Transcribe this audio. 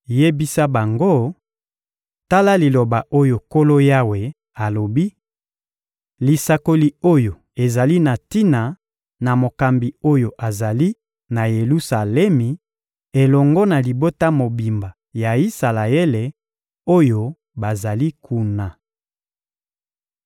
Yebisa bango: ‹Tala liloba oyo Nkolo Yawe alobi: Lisakoli oyo ezali na tina na mokambi oyo azali na Yelusalemi elongo na libota mobimba ya Isalaele, oyo bazali kuna.›